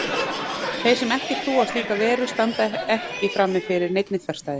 Þeir sem ekki trúa á slíka veru standa ekki frammi fyrir neinni þverstæðu.